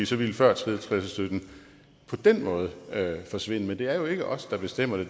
så ville førtiltrædelsesstøtten på den måde forsvinde men det er jo ikke os der bestemmer